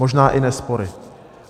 Možná i ne spory.